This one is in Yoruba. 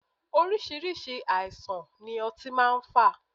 Oríṣiríṣi àìsàn ni ọtí máa ń fà.